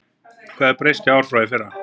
Hvað hefur breyst í ár frá í fyrra?